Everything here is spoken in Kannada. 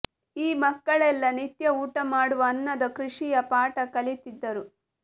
ಈ ಮಕ್ಕಳೆಲ್ಲ ನಿತ್ಯ ಊಟ ಮಾಡುವ ಅನ್ನದ ಕೃಷಿಯ ಪಾಠ ಕಲಿತಿದ್ದರು